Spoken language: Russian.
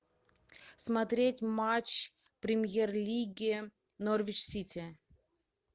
смотреть матч премьер лиги норвич сити